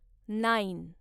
nine